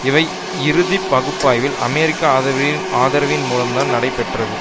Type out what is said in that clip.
இவை இறுதி பகுப்பாய்வில் அமெரிக்க ஆதரவின் மூலம்தான் நடைபெற்றது